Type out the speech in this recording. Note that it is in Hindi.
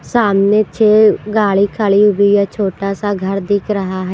सामने छह गाड़ी खड़ी हुई है छोटा सा घर दिख रहा है।